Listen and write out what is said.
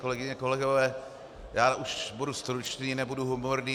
Kolegyně, kolegové, já už budu stručný, nebudu humorný.